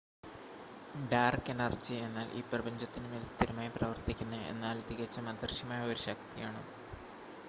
dark energy എന്നാൽ ഈ പ്രപഞ്ചത്തിനുമേൽ സ്ഥിരമായി പ്രവർത്തിക്കുന്ന എന്നാൽ തികച്ചും അദൃശ്യമായ ഒരു ശക്തിയാണ്